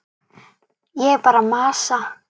Ég er bara að masa.